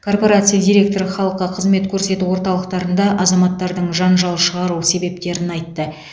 корпорация директоры халыққа қызмет көрсету орталықтарында азаматтардың жанжал шығару себептерін айтты